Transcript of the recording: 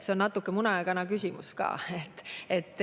See on natuke muna ja kana küsimus ka.